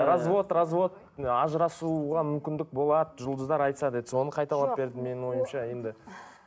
развод развод ажырасуға мүмкіндік болады жұлдыздар айтса деді соны қайталап берді менің ойымша енді